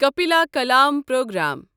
کپیٖلا کلام پروگرام